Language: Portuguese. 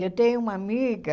Eu tenho uma amiga